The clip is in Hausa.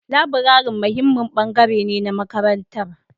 Laburare muhimmin bangare ne na makarantar